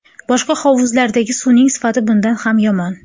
Boshqa hovuzlardagi suvning sifati bundan ham yomon.